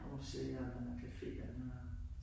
Museerne, caféerne